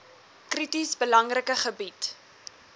krities belangrike gebied